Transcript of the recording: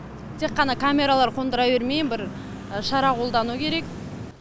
тек қана камералар қондыра бермей бір шара қолдану керек